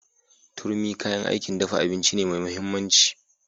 Turmi kayan aikin dafa abinci ne mai mahimmanci.